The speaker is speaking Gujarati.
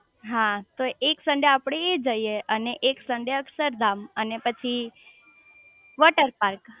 હા તો એક સન્ડે આપડે એ જઇયે અને એક સન્ડે અક્ષરધામ અને પછી વોટરપાર્ક